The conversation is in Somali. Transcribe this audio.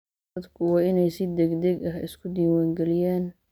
Dadku waa inay si degdeg ah isu diwaangeliyaan.